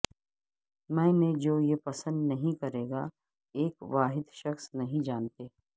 میں نے جو یہ پسند نہیں کرے گا ایک واحد شخص نہیں جانتے